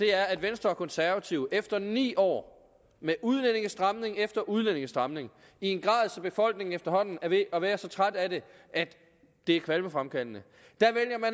er at venstre og konservative efter ni år med udlændingestramning efter udlændingestramning i en grad så befolkningen efterhånden er ved at være så træt af det at det er kvalmefremkaldende